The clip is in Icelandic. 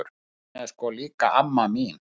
Hún er sko líka amma mín!